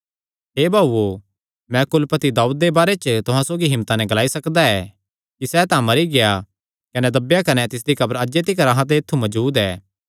हे भाऊओ मैं कुलपति दाऊद दे बारे च तुहां सौगी हिम्मता नैं ग्लाई सकदा ऐ कि सैह़ तां मरी गेआ कने दब्बेया कने तिसदी कब्र अज्जे तिकर अहां दे ऐत्थु मजूद ऐ